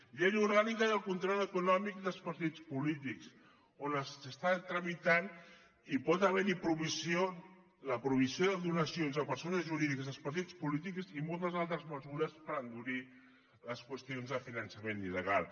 llei orgànica de control econòmic dels partits polítics que s’està tramitant i hi pot haver la prohibició de donacions de persones jurídiques als partits polítics i moltes altres mesures per endurir les qüestions del finançament illegal